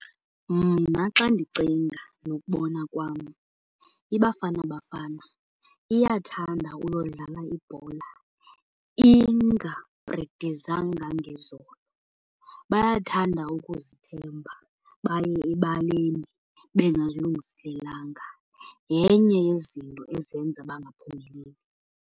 Mna xa ndicinga nokubona kwam, iBafana Bafana iyathanda uyodlala ibhola ingaprekthizanga ngezolo. Bayathanda ukuzithemba baye ebaleni bengazilungiselelanga. Yenye yezinto ezenza bangaphumeleli.